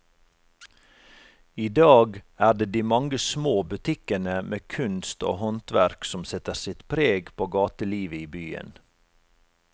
I dag er det de mange små butikkene med kunst og håndverk som setter sitt preg på gatelivet i byen.